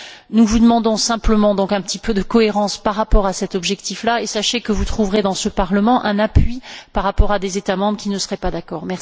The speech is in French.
C'est pourquoi nous vous demandons simplement un peu de cohérence par rapport à cet objectif là, et sachez que vous trouverez, dans ce Parlement, un appui par rapport à des États membres qui ne seraient pas d'accord.